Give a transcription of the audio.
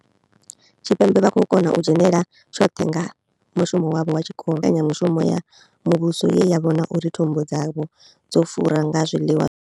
Tshipembe vha khou kona u dzhenela tshoṱhe nga mushumo wavho wa tshikolo, ndivhuwo kha mbekanya mushumo ya muvhuso ye ya vhona uri thumbu dzavho dzo fura nga zwiḽiwa.